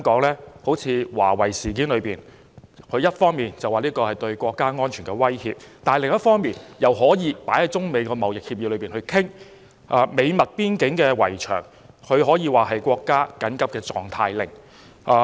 例如華為事件，它一方面說這是對國家安全的威脅，但另一方面又可以放在中美貿易協議裏商討；就美墨邊境圍牆，它可以頒布國家緊急狀態令。